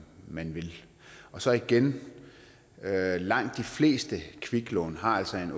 man vil så igen langt de fleste kviklån har altså en